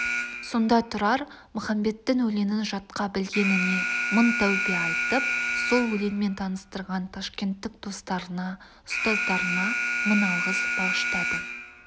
сонда тұрар махамбеттің өлеңін жатқа білгеніне мың тәубе айтып сол өлеңмен таныстырған ташкенттік достарына ұстаздарына мың алғыс бағыштады